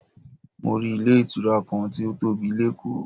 Mo rí ilé ìtura kan tí ó tóbi lékòó.